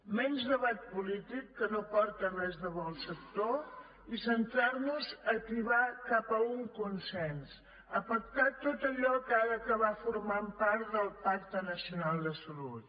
menys debat polític que no aporta res de bo al sector i centrar nos a tibar cap a un consens a pactar tot allò que ha d’acabar formant part del pacte nacional de salut